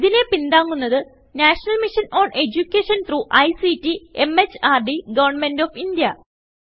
ഇതിനെ പിന്താങ്ങുന്നത് national mission on education through ICT MHRD government of India